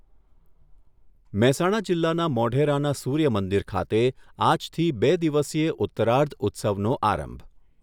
મહેસાણા જીલ્લાના મોઢેરાના સૂર્યમંદિર ખાતે આજથી બે દિવસીય ઉત્તરાર્ધ ઉત્સવનો આરંભ